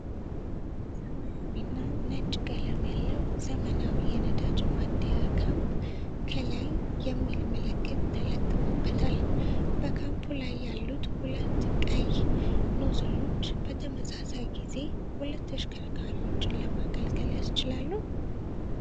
ሰማያዊና ነጭ ቀለም ያለው ዘመናዊ የነዳጅ ማደያ ፓምፕ፣ ከላይ "Oilibya" የሚል ምልክት ተለጥፎበታል። በፓምፑ ላይ ያሉት ሁለቱ ቀይ ኖዝሎች በተመሳሳይ ጊዜ ሁለት ተሽከርካሪዎችን ለማገልገል ያስችላሉ?